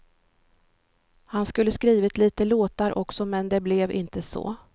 Han skulle skrivit lite låtar också, men det blev inte så.